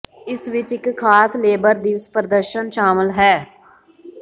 ਇਸ ਵਿਚ ਇਕ ਖਾਸ ਲੇਬਰ ਦਿਵਸ ਪ੍ਰਦਰਸ਼ਨ ਸ਼ਾਮਲ ਹੈ